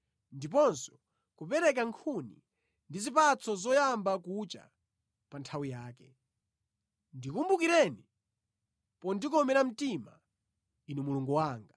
Ndiponso kupereka nkhuni ndi zipatso zoyamba kucha pa nthawi yake. Ndikumbukireni pondikomera mtima, Inu Mulungu wanga.